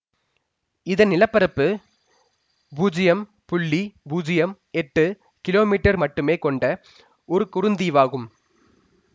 இதன் நிலப்பரப்பு பூஜ்யம் புள்ளி பூஜ்யம் எட்டு கிலோ மீட்டர் மட்டுமே கொண்ட ஒரு குறுந்தீவாகும்